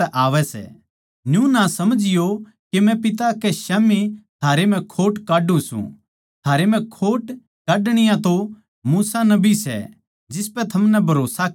न्यू ना समझियों के मै पिता के स्याम्ही थारै म्ह खोट काढ्ढू सूं थारे म्ह खोट काढणिया तो मूसा नबी सै जिसपै थमनै भरोस्सा करया सै